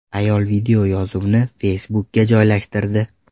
Ayol videoyozuvni Facebook’ga joylashtirdi .